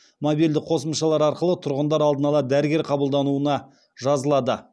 мобильді қосымшалар арқылы тұрғындар алдын ала дәрігер қабылдауына жазылады